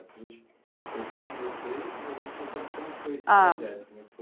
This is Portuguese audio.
A gente ouviu de você, mas a gente não sabe como foi esse projeto né. Ah